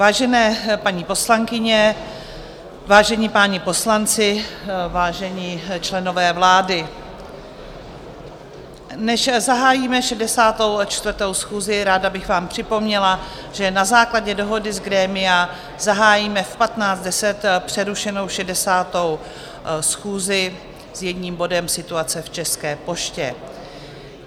Vážené paní poslankyně, vážení páni poslanci, vážení členové vlády, než zahájíme 64. schůzi, ráda bych vám připomněla, že na základě dohody z grémia zahájíme v 15.10 přerušenou 60. schůzi s jedním bodem, Situace v České poště.